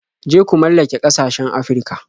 Je ku mallake ƙasashen Afirka.